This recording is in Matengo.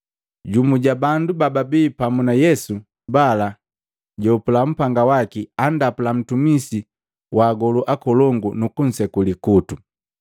Jumu ja bandu bababi pamu na Yesu bala jahopula upanga waki andapula ntumisi wa agolu akolongu, nukunseku likutu.